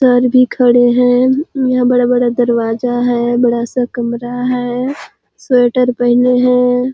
Sir भी खड़े है यहाँ बड़ा-बड़ा दरवाजा है बड़ा सा कमरा है स्वेटर पहने है।